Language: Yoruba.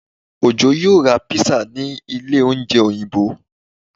Ojó yóò ra pizza ní ilé oúnjẹ Òyìnbó